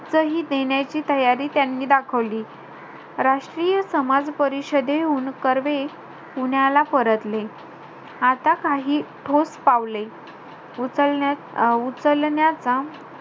सही देण्याची तयारी त्यांनी दाखवली. राष्ट्रीय समाज परिषदेहून कर्वे, पुण्याला परतले. आता काही ठोस पावले उचल~ उचलण्याचा,